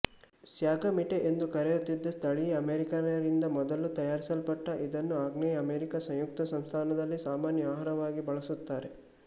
sagamite ಎಂದು ಕರೆಯುತ್ತಿದ್ದ ಸ್ಥಳೀಯ ಅಮೇರಿಕನ್ನರಿಂದ ಮೊದಲು ತಯಾರಿಸಲ್ಪಟ್ಟ ಇದನ್ನು ಆಗ್ನೇಯ ಅಮೆರಿಕ ಸಂಯುಕ್ತ ಸಂಸ್ಥಾನದಲ್ಲಿ ಸಾಮಾನ್ಯ ಆಹಾರವಾಗಿ ಬಳಸುತ್ತಾರೆ